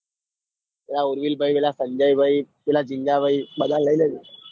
પેલા ઉર્વિલભાઈ પેલા સંજયભાઈ પેલા ઝીંગાભાઈ બધા ને લઇ લેજે.